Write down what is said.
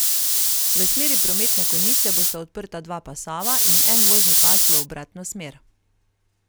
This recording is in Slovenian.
V smeri prometne konice bosta odprta dva pasova in en vozni pas v obratno smer.